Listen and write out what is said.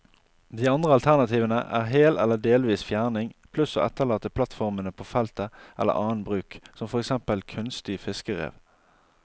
De andre alternativene er hel eller delvis fjerning, pluss å etterlate plattformene på feltet eller annen bruk, som for eksempel kunstig fiskerev.